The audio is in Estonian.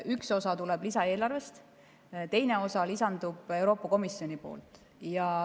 Üks osa tuleb lisaeelarvest, teine osa lisandub Euroopa Komisjonilt.